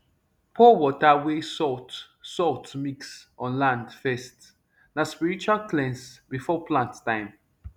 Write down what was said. pour water wey salt salt mix on land first na spiritual cleanse before plant time